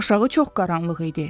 Aşağı çox qaranlıq idi.